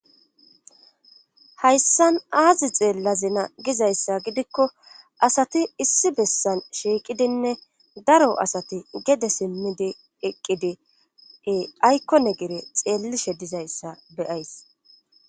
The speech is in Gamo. hayssan aazi xeellazina gizayssa gidikko asati issi bessan shiiqidinne daro asati gede simmidi eqqidi aykkone gere xeellishe dizayssa beyays